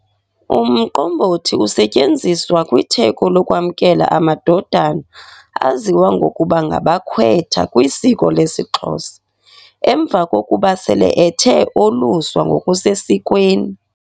Umqombothi usetyenziswa kwitheko lokwamkela amadodana aziwa ngokuba ngabakwetha kwisiko lesiXhosa, emva kokuba sele ethe oluswa ngokusesikweni.